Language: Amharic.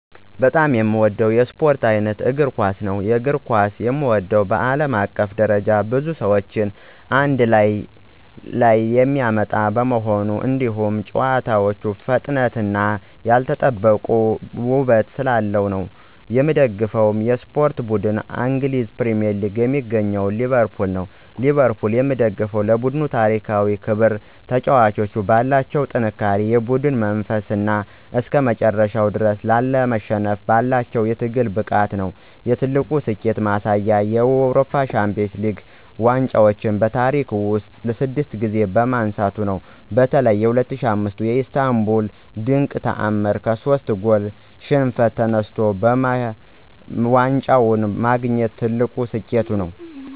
በጣም የምወደው የስፖርት ዓይነት እግር ኳስ ነው። የእግር ኳስን የምወደው በዓለም አቀፍ ደረጃ ብዙ ሰዎችን አንድ ላይ የሚያመጣ በመሆኑ፣ እንዲሁም ጨዋታው ፈጣንነትና ያልተጠበቀ ውበት ስላለው ነው። የምደግፈው የስፖርት ቡድን እንግሊዝ ውስጥ የሚገኘው ሊቨርፑል ነው። ሊቨርፑልን የምደግፈው ለቡድኑ ታሪካዊ ክብር፣ ተጫዋቾቹ ባላቸው ጠንካራ የቡድን መንፈስና እስከመጨረሻው ድረስ ላለመሸነፍ ባላቸው የትግል ብቃት ነው። የትልቁ ስኬቱ ማሳያ የአውሮፓ ሻምፒዮንስ ሊግ ዋንጫን በታሪክ ውስጥ ስድስት ጊዜ ማንሳቱ ነው። በተለይ በ2005ቱ የኢስታንቡል ድንቅ ተዓምር ከሶስት ጎል ሽንፈት ተነስቶ ዋንጫውን ማግኘቱ ትልቁ ስኬቱ ነው።